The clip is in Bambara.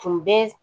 Tun bɛ